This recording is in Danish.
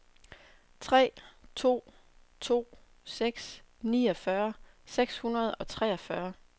tre to to seks niogfyrre seks hundrede og treogfyrre